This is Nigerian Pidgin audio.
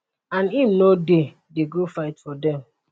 and im no dey dey go fight for dem